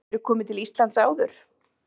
Hefurðu komið til Íslands áður?